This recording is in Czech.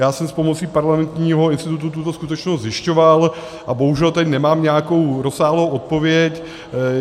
Já jsem s pomocí Parlamentního institutu tuto skutečnost zjišťoval a bohužel tady nemám nějakou rozsáhlou odpověď.